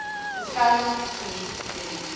beskerming geniet indien